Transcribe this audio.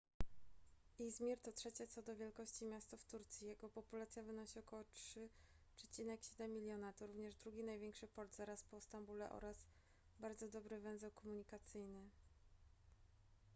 izmir to trzecie co do wielkości miasto w turcji jego populacja wynosi około 3,7 miliona to również drugi największy port zaraz po stambule oraz bardzo dobry węzeł komunikacyjny